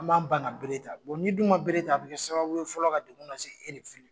An b'an ban ka bere ta; ; n' dun ma bere ta, a bɛ kɛ sababu ye fɔlɔ ka dekun la se